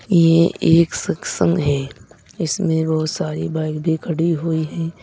ये एक सत्संग है इसमें बहुत सारी बाइक भी खड़ी हुई है।